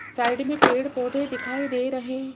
side में पेड़ पौधे दिखाई दे रहे--